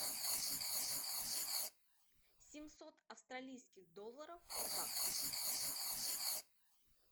семьсот австралийских долларов в баксах